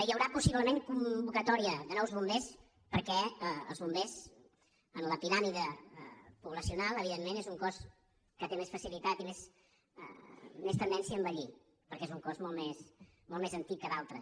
hi haurà possiblement convocatòria de nous bombers perquè els bombers en la piràmide poblacional evidentment són un cos que té més facilitat i més tendència a envellir perquè és un cos molt més antic que d’altres